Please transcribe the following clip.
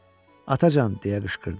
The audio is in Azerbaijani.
Atacan, deyə qışqırdın.